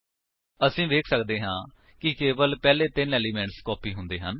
ਅਸੀ ਵੇਖ ਸੱਕਦੇ ਹਾਂ ਕਿ ਕੇਵਲ ਪਹਿਲੇ ਤਿੰਨ ਏਲਿਮੇਂਟਸ ਕਾਪੀ ਹੁੰਦੇ ਹਨ